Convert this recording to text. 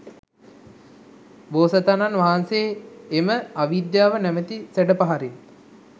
බෝසතාණන් වහන්සේ එම අවිද්‍යාව නමැති සැඩ පහරින්